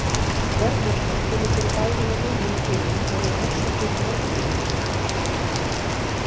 Dvergvöxtur kemur fyrir bæði hjá mönnum og dýrum og eru orsakir margvíslegar.